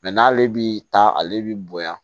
n'ale bi taa ale bi bonya